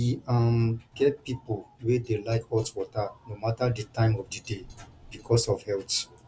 e um get pipo wey dey like hot water no matter di time of di day because of health